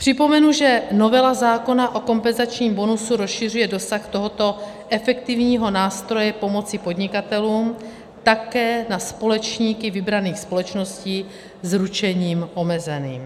Připomenu, že novela zákona o kompenzačním bonusu rozšiřuje dosah tohoto efektivního nástroje pomoci podnikatelům také na společníky vybraných společností s ručením omezeným.